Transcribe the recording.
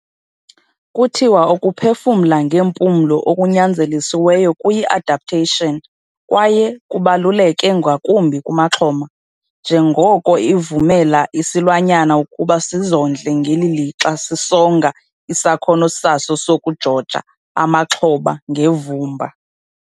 Kuthiwa ukuphefumla ngeempumlo okunyanzelisiweyo kuyi-adaptation kwaye kubaluleke ngakumbi kumaxhoma, njengoko ivumela isilwanyana ukuba sizondle ngeli lixa sisonga isakhono saso sokujoja amaxhoba ngevumba.